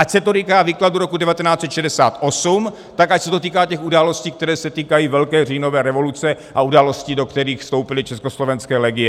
Ať se to týká výkladu roku 1968, tak ať se to týká těch událostí, které se týkají Velké říjnové revoluce a událostí, do kterých vstoupily československé legie.